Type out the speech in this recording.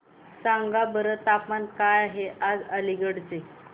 सांगा बरं तापमान काय आहे आज अलिगढ चे